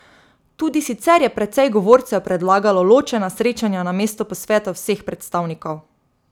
Tudi sicer je precej govorcev predlagalo ločena srečanja namesto posvetov vseh predstavnikov.